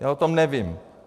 Já o tom nevím.